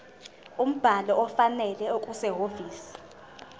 umbhalo ofanele okusehhovisi